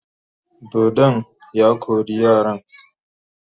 Dodon ya kore yaran.